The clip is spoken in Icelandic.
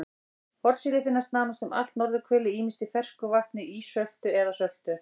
Hornsíli finnst nánast um allt norðurhvelið ýmist í fersku vatni, ísöltu eða söltu.